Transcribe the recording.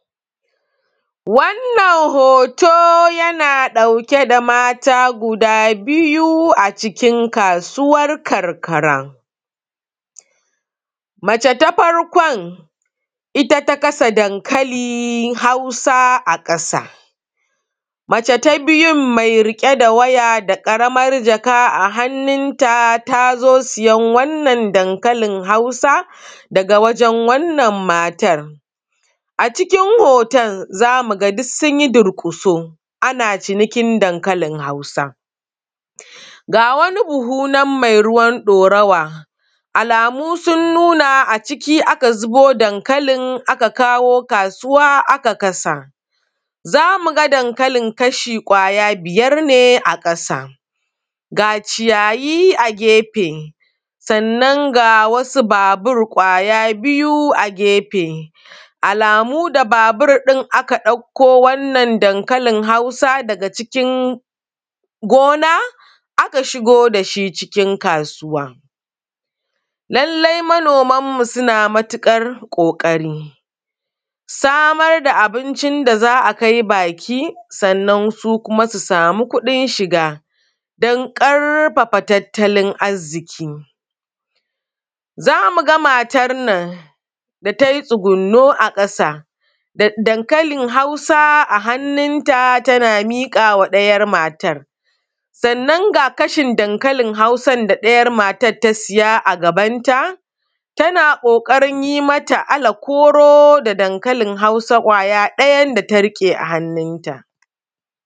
Wannan hoto yana ɗauke da mata guda biyu a cikin kasuwan karkara, mace ta farkon ita ta kasa dankalin Hausa a ƙasa, mace ta biyun me riƙe da waya da ƙaraman jaka a hannunta ta zo siyan wannan dankalin Hausa daga wajen wannan matan. A cikin hoton za mu ga duk sun yi durƙuso ana cinikin dankalin Hausa ga wani buhu nan me ruwa ɗorawa, alamu sun nuna a ciki aka zubo dankalin aka kawo kasuwa aka kasa, za mu ga dankalin kashi kwaya biyar ne a ƙasa. Ga ciyayi a gefe, sannan ga wasu babur kwaya biyu a gefe, alamu da mashin ɗin aka ɗauko wannan dankalin Hausa daga cikin gona aka shigo da shi cikin kasuwa, lallai manomanmu suna matuƙar ƙoƙarin samar da abincin da za a kai baki. Sannan su kuma, su sama kuɗin shiga dan ƙarfafa tattalin arziƙi, za mu ga matan nan da tai tsugonno a ƙasa da dankalin Hausa a hannunta, tana miƙa ma ɗayan matan, san nan ga kashin dankalin da ɗayan matan ta siya a gabanta tana ƙoƙarin yin mata alakoro da dankalin Hausa kwaya ɗayan da ta riƙe a hannunta.